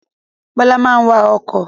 Bọlá máa ń wà ọkọ̀